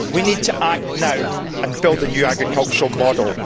We need to act now and build a new agricultural model.